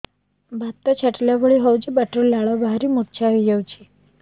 ବାତ ଛାଟିଲା ଭଳି ହଉଚି ପାଟିରୁ ଲାଳ ବାହାରି ମୁର୍ଚ୍ଛା ହେଇଯାଉଛି